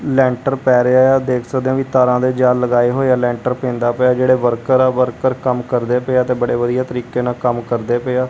ਲੈਂਟਰ ਪੈ ਰਿਹਾ ਹੈ ਦੇਖ ਸਕਦੇ ਹਾਂ ਵਈ ਤਾਰਾਂ ਦੇ ਜਾਲ ਲਗਾਏ ਹੋਇਆ ਲੈਂਟਰ ਪੈਂਦਾ ਪਿਆ ਜੇਹੜੇ ਵਰਕਰ ਆ ਵਰਕਰ ਕੰਮ ਕਰਦੇ ਪਏ ਆ ਤੇ ਬੜੇ ਵਧੀਆ ਤਰੀਕੇ ਨਾਲ ਕੰਮ ਕਰਦੇ ਪਏ ਆ।